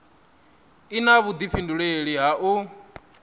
i na vhudifhinduleli ha u